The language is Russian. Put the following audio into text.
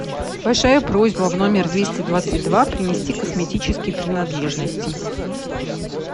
большая просьба в номер двести двадцать два принести косметические принадлежности